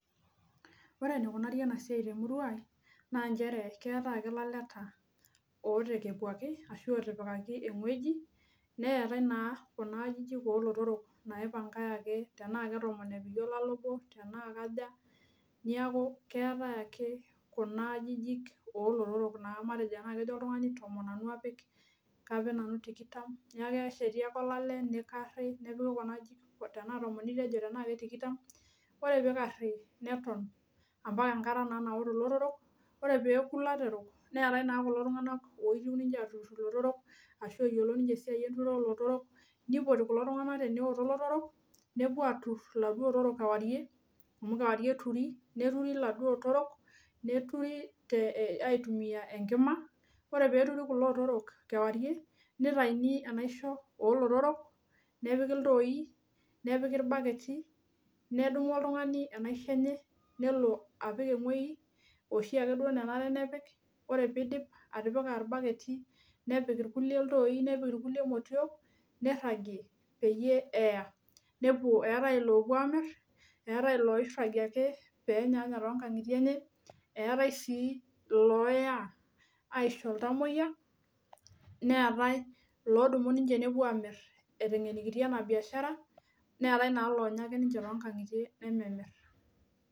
Ore enikunari ena esiai temurua ang naa keetae elaleta otekepuaki neetae naa Kuna ajijik oo lotorok naipangaki tenaa Kee tomon epiki olale obo tenaa kaja naa keeta ake oltung'ani tenaa kejo oltung'ani tomon nanu apik tenaa tikitam neeku kesheti ake olale nikarii ore pee eikari mbaka enkata nakuto lotorok oree pee eku lotorok neetae kulo tung'ana oyiolo esiai enturuto oo lotorok nipoti kulo tung'ana tenekuto elotorok nepuo atur eladuo otorok kewarie neturi aitumia Enkima ore pee eturi kulo otorok kewarie nitayuni enaishoo oo lotorok nepiki ilntoi nepiki ibaketi nedumu oltung'ani enaishoo enye nelo apik ewueji oshiake nenare nepik ore pee edip atipika irbaketi nepik irkulie ilntoi nepiki irkulie motiok nirajie pee eya etai lopuo amir etae loirajie pee enyanya too nkongutie enye etae sii looya aiso ilntamuoyia neetae eloya apuo amir etengenikitia ena biashara neetae naa longa ake too nkang'itie enye nememirr